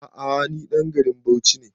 A'a ni ɗan garin Bauchi ne